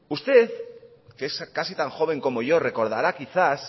usted que es casi tan joven como yo recordará quizás